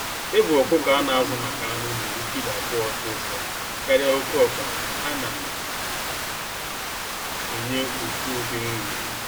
Ịbụ ọkụkọ a na azụ maka anụ na-eru kilo abụọ ọsịsọ karịa oke ọkpa ha na enye ofu ụdị nri.